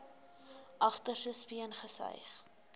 agterste speen gesuig